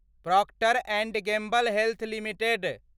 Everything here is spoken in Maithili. Procter and Gamble health limited